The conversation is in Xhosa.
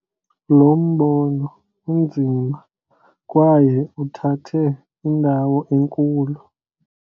Lo mbona unzima kwaye uthathe indawo enkulu.